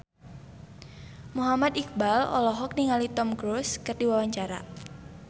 Muhammad Iqbal olohok ningali Tom Cruise keur diwawancara